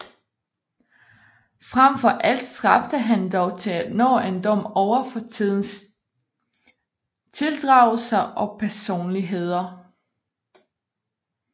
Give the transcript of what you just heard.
Frem for alt stræbte han dog til at nå en dom over fortidens tildragelser og personligheder